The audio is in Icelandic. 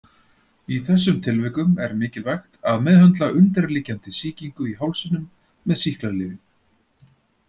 Í þessum tilvikum er mikilvægt að meðhöndla undirliggjandi sýkingu í hálsinum með sýklalyfjum.